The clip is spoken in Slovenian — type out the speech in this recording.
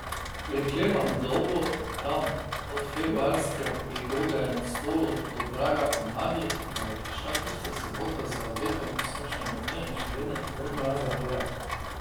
Preklemano dolgo, tam od februarske prigode na Stolu do praga pomladi, da je prišla tista sobota z obetom sončnega dne in še vedno dovolj mraza v gorah.